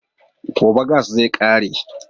Gobe gas zai ƙare